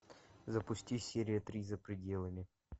запусти серия три за пределами